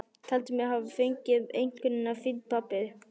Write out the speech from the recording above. Taldi mig hafa fengið einkunnina fínn pappír.